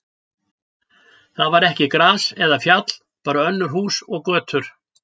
Þar var ekki gras eða fjall, bara önnur hús og götur.